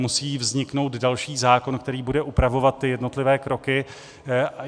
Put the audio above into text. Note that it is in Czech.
Musí vzniknout další zákon, který bude upravovat ty jednotlivé kroky.